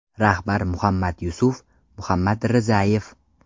Rahbar Muhammadyusuf Muhammadrizayev.